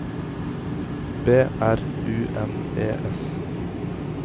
B R U N E S